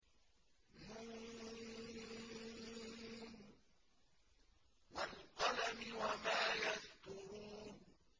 ن ۚ وَالْقَلَمِ وَمَا يَسْطُرُونَ